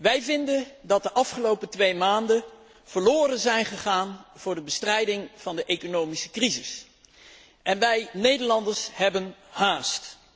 Wij vinden dat de afgelopen twee maanden verloren zijn gegaan voor de bestrijding van de economische crisis en wij, Nederlanders, hebben haast.